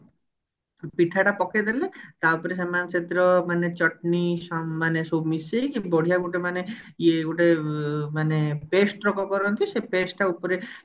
ପିଠା ଟା ପକେଇଦେଲେ ତା ଉପରେ ସେମାନେ ସେଥିରେ ମାନେ ଚଟଣି ସମ ମାନେ ସବୁ ମିଶେଇକି ବଢିଆ ଗୋଟେ ମାନେ ଇଏ ଗୋଟେ ଉ ମାନେ pest ରକମ କରନ୍ତି ସେ pest ଟା ଉପରେ